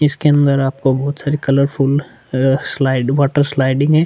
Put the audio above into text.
इसके अंदर आपको बहोत सारे colourful uh slide water sliding है।